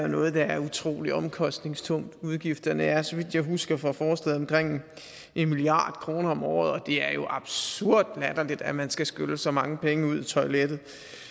noget der er utrolig omkostningstungt udgifterne er så vidt jeg husker fra forslaget omkring en milliard kroner om året og det er jo absurd latterligt at man skal skylle så mange penge ud i toilettet